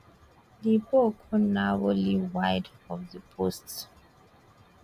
di ball go narrowly wide of di post